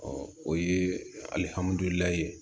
Ɔ o ye ye